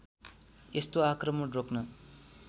यस्तो आक्रमण रोक्न